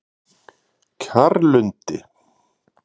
Kjarrlundi